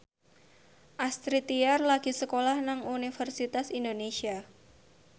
Astrid Tiar lagi sekolah nang Universitas Indonesia